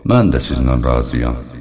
Mən də sizlə razıyam.